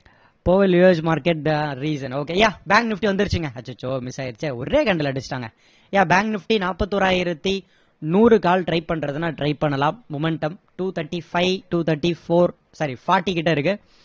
market reason okay yeah bank nifty வந்திருச்சுங்க அச்சச்சோ miss ஆயிடுச்சே ஒரே கண்டுல அடிச்சிடாங்க yeah bank nifty நாற்பதி ஓராயிரத்தி நூறு call try பண்றதுன்னா try பண்ணலாம் momentum two thirty-five two thirty-four sorry forty கிட்ட இருக்கு